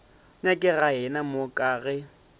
nyakega yena mo ka ge